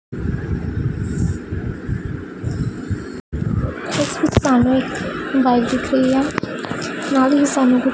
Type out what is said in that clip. ਇਸ ਵਿੱਚ ਸਾਨੂੰ ਇੱਕ ਬਾਇਕ ਦਿੱਖ ਰਹੀ ਹੈ ਨਾਲ ਹੀ ਸਾਨੂੰ --